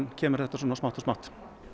kemur þetta smátt og smátt